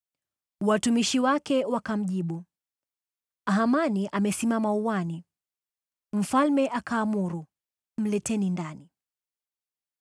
Watumishi wake wakamjibu, “Hamani amesimama uani.” Mfalme akaamuru, “Mleteni ndani.”